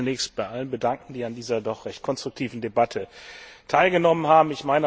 Ich möchte mich zunächst bei allen bedanken, die an dieser doch recht konstruktiven Debatte teilgenommen haben.